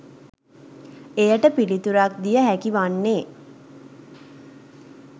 එයට පිළිතුරක් දිය හැකි වන්නේ